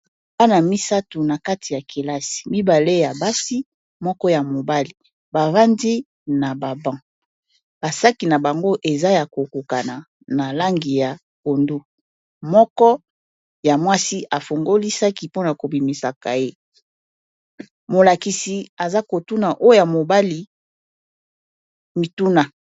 wana misatu na kati ya kelasi mibale ya basi moko ya mobali bavandi na bababan basaki na bango eza ya kokokana na langi ya pondu moko ya mwasi afungoli saki mpona kobimisa kaye molakisi aza kotuna oya mobali mituna